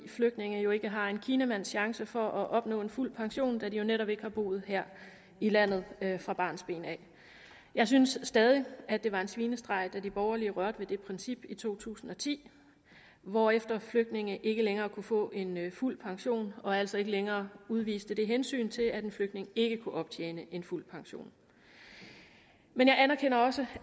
flygtninge jo ikke har en kinamands chance for at opnå en fuld pension da de jo netop ikke har boet her i landet fra barnsben jeg synes stadig at det var en svinestreg da de borgerlige rørte ved det princip i to tusind og ti hvorefter flygtninge ikke længere kunne få en fuld pension og altså ikke længere udviste det hensyn til at en flygtning ikke kunne optjene en fuld pension men jeg anerkender også